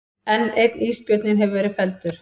Enn einn ísbjörninn hefur verið felldur